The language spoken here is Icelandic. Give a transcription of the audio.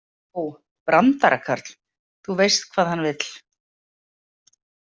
Ó, brandarakarl, þú veist hvað hann vill.